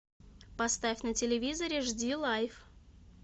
поставь на телевизоре жди лайв